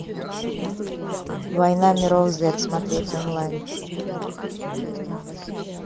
война миров зет смотреть онлайн